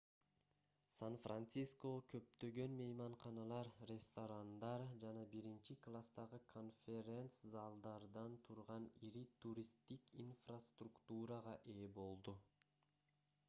сан-франциско көптөгөн мейманканалар ресторандар жана биринчи класстагы конферен-залдардан турган ири туристтик инфраструктурага ээ болду